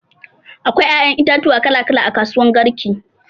Akwai ƴaƴan itatuwa kala kala a kasuwan garki.